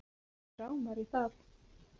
Mig rámar í það